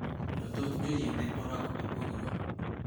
to thoth joyie ne orwako abuog rombe